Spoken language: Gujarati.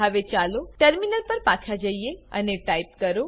હવે ચાલો ટર્મિનલ પર પાછા જઈએ અને ટાઈપ કરો